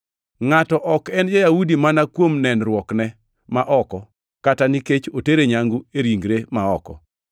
Ngʼato ok en ja-Yahudi mana kuom nenruokne ma oko kata nikech otere nyangu e ringre ma oko.